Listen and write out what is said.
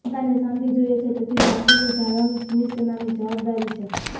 જનતાને શાંતિ જોઇએ છે તેથી શાંતિની જાળવણી ચીની સેનાની જવાબદારી છે